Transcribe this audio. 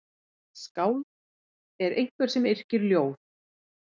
Skáld er einhver sem yrkir ljóð.